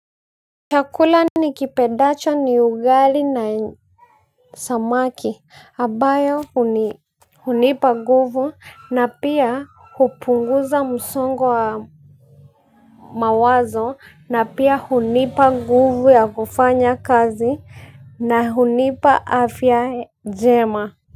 Chakula nikipendacho ni ugali na samaki, ambayo hunipa nguvu, na pia hupunguza msongo wa mawazo, na pia hunipa nguvu ya kufanya kazi. Na hunipa afya njema.